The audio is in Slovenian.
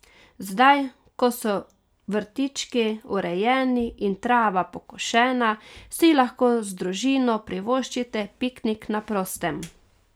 Zdaj, ko so vrtički urejeni in trava pokošena, si lahko z družino privoščite piknik na prostem.